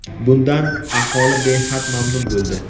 Bundan aholi behad mamnun bo‘ldi.